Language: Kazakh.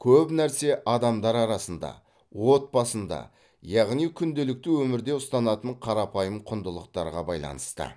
көп нәрсе адамдар арасында отбасында яғни күнделікті өмірде ұстанатын қарапайым құндылықтарға байланысты